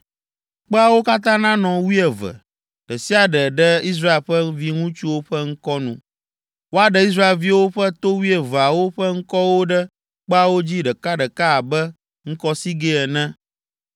Kpeawo katã nanɔ wuieve, ɖe sia ɖe ɖe Israel ƒe viŋutsuwo ƒe ŋkɔ nu. Woaɖe Israelviwo ƒe to wuieveawo ƒe ŋkɔwo ɖe kpeawo dzi ɖekaɖeka abe ŋkɔsigɛ ene.